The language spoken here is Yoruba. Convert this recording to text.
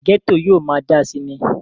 gẹ́tò yóò máa dáa síi ni